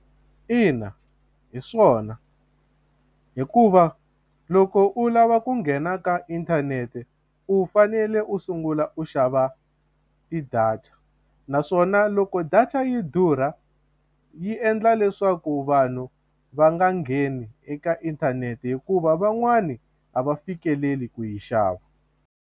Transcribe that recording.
Ina hi swona hikuva loko u lava ku nghena ka inthanete u fanele u sungula u xava ti-data naswona u loko data yi durha yi endla leswaku vanhu va nga ngheni eka inthanete hikuva van'wani a va fikeleli ku yi xava.